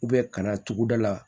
ka na tuguda la